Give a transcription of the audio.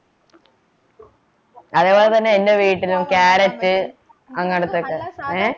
അതുപോലെതന്നെ എൻ്റെ വീട്ടിലും carrot അങ്ങനത്തെ ഏർ